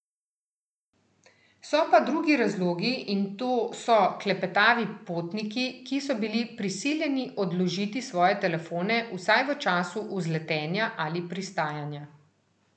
So pa drugi razlogi, in to so klepetavi potniki, ki so bili prisiljeni odložiti svoje telefone vsaj v času vzletanja ali pristajanja.